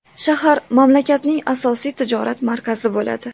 Shahar mamlakatning asosiy tijorat markazi bo‘ladi.